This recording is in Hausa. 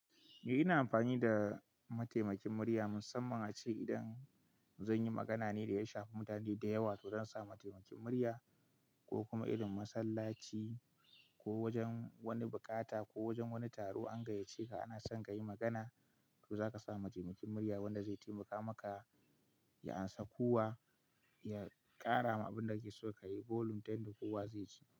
Eh ina amfani da mataimakin murya musamman ace idan zan yi magana ne da ya shafi mutane da yawa to zan sa mataimakin murya ko kuma irin masallaci ko wajen wani bukata ko wajen wani taro an gayyace ka ana son ka yi magana to za ka sa mataimakin murya wanda zai taimaka maka ya amsa kuwa ya ƙara ma abin da kake so ka yi volume ta yanda kowa zai ci.